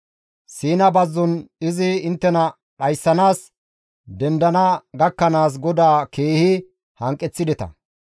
Siina bazzon izi inttena dhayssanaas dendana gakkanaas GODAA keehi hanqeththideta.